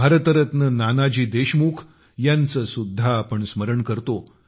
भारतरत्न नानाजी देशमुख यांचे सुद्धा आपण स्मरण करतो